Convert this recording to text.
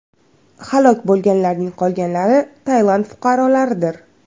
Halok bo‘lganlarning qolganlari Tailand fuqarolaridir.